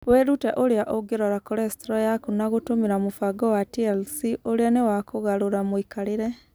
Wĩrute ũrĩa ũngĩrora cholesterol yaku na gũtũmĩra mũbango wa TLC ũrĩa nĩ wa kũgarũra mũikarĩre.